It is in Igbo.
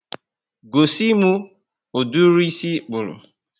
Gosimi ụdịrị ísì ikpuru